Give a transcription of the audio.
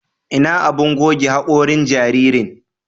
Ina abun goge haƙorin jaririn?